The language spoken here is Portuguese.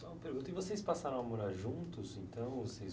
Só uma pergunta, e vocês passaram a morar juntos, então? Vocês...